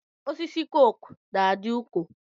Osisi koko na-adị ụkọ.